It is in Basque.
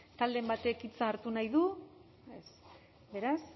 talderen batek hitza hartu nahi du ez beraz